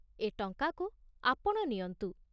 ଏ ଟଙ୍କାକୁ ଆପଣ ନିଅନ୍ତୁ।